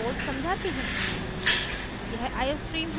मैं अभी code समझाती हूँ